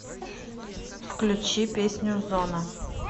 включи песню зона